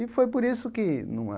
E foi por isso que numa...